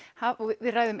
við ræðum